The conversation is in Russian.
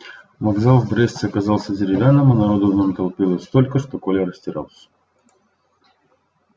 вокзал в бресте оказался деревянным а народу в нем толпилось столько что коля растерялся